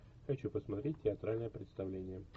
хочу посмотреть театральное представление